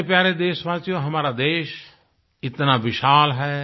मेरे प्यारे देशवासियो हमारे देश इतना विशाल है